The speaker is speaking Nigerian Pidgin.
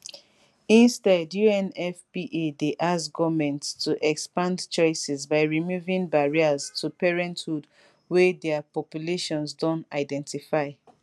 instead unfpa dey ask goments to expand choices by removing barriers to parenthood wey dia populations don identify